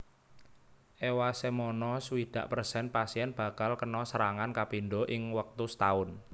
Ewasemono swidak persen pasien bakal kena serangan kapindho ing wektu setaun